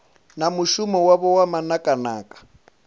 na mushumo wavho wa manakanaka